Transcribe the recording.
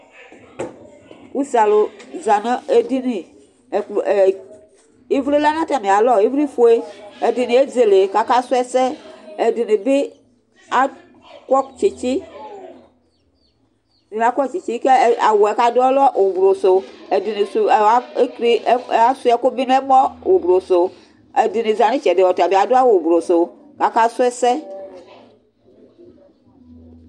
ʊsé alu aza ŋu éɖɩŋɩ Ɩʋli lɛ ŋu tamɩ alɔ Ɩʋli ƒoé ɛɖiŋɩ ézélé akasʊ ɛsɛ Ɛɖɩŋɩɓɩ aƙɔ tsɩtsɩ , ƙawʊ ƙaɖʊ ɔlɛ ʊɓlʊ sʊ ɛɖɩŋɩ sʊ asʊɩaƙʊ ɓɩ ŋɛmɔ ʊɓlʊ sʊ ɛɖɩɓɩ zati ŋɩtsɛɖɩ ʊɓlʊ sʊ ƙaƙa sʊ ɛsɛ